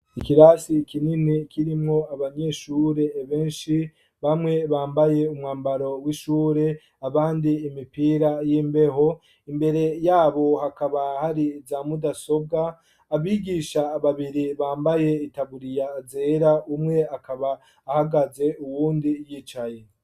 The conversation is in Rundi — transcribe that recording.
Ikirasi kinini, kirimwo abanyeshure benshi, bamwe, bambaye umwambaro w'ishure; abandi, imipira y'imbeho; imbere y'abo, hakaba hari za mudasobwa; abigisha ababiri, bambaye itaburiya zera, umwe akaba ahagaze, uwundi yicaye.